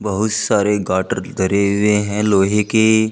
बहुत सारे गाटर धरे हुए हैं लोहे के।